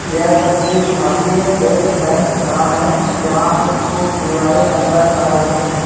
यह तस्वीर Bharatiya state bank का है | जहाँ पे कुछ दीवारे नजर आ रही हैं।